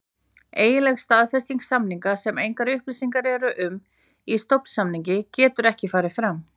Eiginleg staðfesting samninga, sem engar upplýsingar eru um í stofnsamningi, getur ekki farið fram.